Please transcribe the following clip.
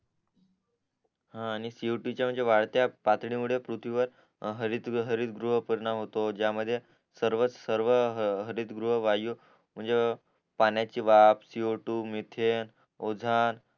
हा आणि सीओटू च्या वाढत्या पातळी मुळे पृथ्वीवर हरिद्रव्य परिणाम होतो गया मध्ये जया मध्ये सर्व सर्व हरिद्रव्य वायू म्हणजे पाण्याची वाफ सीओटू मिथेन ओझान